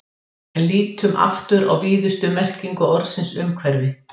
En lítum aftur á víðustu merkingu orðsins umhverfi.